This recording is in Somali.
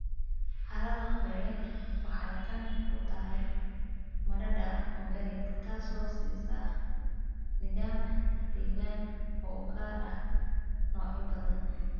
Carrada qoyan waxay qani ku tahay maadada organic, taasoo siisa nidaam deegaan oo u gaar ah noocyo badan.